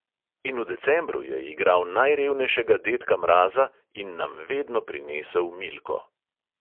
In v decembru je igral najrevnejšega dedka mraza in nam vedno prinesel milko.